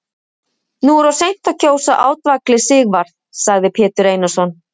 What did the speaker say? Nú er of seint að kjósa átvaglið Sigvarð, sagði Pétur Einarsson.